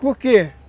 Por quê?